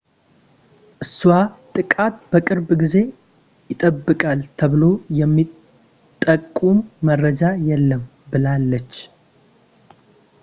እሷ ጥቃት በቅርብ ጊዜ ይጠበቃል ተብሎ የሚጠቁም መረጃ የለም ብላለች